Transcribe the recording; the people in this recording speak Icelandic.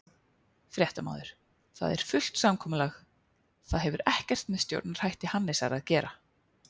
Fréttamaður: Það er fullt samkomulag, það hefur ekkert með stjórnarhætti Hannesar að gera?